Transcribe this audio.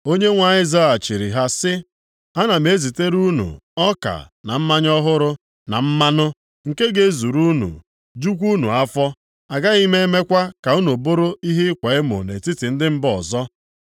Onyenwe anyị zaghachiri ha sị, “Ana m ezitere unu ọka na mmanya ọhụrụ, na mmanụ, nke ga-ezuru unu, jukwa unu afọ. Agaghị m emekwa ka unu bụrụ ihe ịkwa emo nʼetiti ndị mba ọzọ.